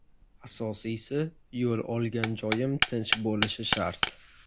Asosiysi, yo‘l olgan joyim tinch bo‘lishi shart.